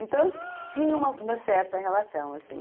Então, tinha uma uma certa relação, assim.